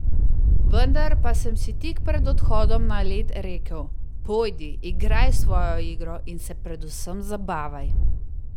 Vendar pa sem si tik pred odhodom na led rekel: 'Pojdi, igraj svojo igro in se predvsem zabavaj.